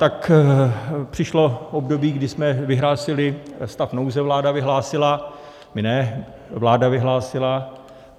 Tak přišlo období, kdy jsme vyhlásili stav nouze - vláda vyhlásila, my ne, vláda vyhlásila.